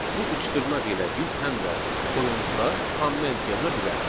Bu üç dırnaq ilə biz həm də kodumuzda komment yaza bilərik.